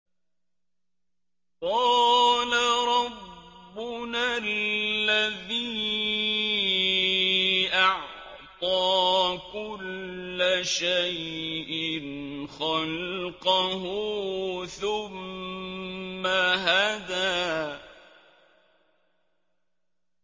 قَالَ رَبُّنَا الَّذِي أَعْطَىٰ كُلَّ شَيْءٍ خَلْقَهُ ثُمَّ هَدَىٰ